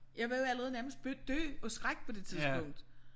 Jeg var jo allerede nærmest bare død af skræk på det tidspunkt